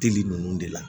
Teli ninnu de la